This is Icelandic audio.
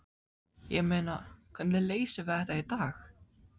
Ég meina, hvernig leysum við þetta í dag?